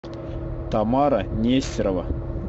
тамара нестерова